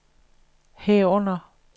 herunder